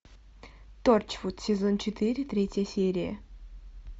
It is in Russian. торчвуд сезон четыре третья серия